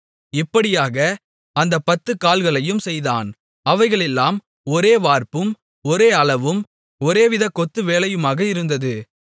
இப்படியாக அந்தப் 10 கால்களையும் செய்தான் அவைகளெல்லாம் ஒரே வார்ப்பும் ஒரே அளவும் ஒரேவித கொத்து வேலையுமாக இருந்தது